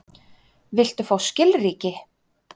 Viltu fá skilríki?